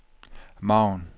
margen